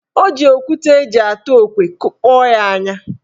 Ọ ji okwute eji atụ okwe kụkpọ ya anya.